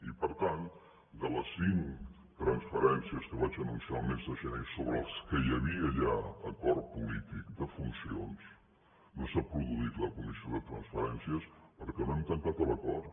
i per tant de les cinc transferències que vaig anunciar el mes de gener sobre les quals hi havia ja acord polític de funcions no s’ha produït la comissió de transferències perquè no hem tancat l’acord